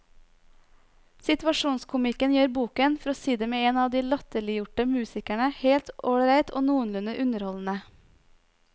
Situasjonskomikken gjør boken, for å si det med en av de latterliggjorte musikerne, helt ålreit og noenlunde underholdende.